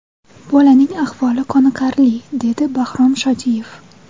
Bolalarning ahvoli qoniqarli”, deydi Bahrom Shodiyev.